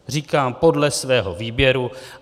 Říkám podle svého výběru.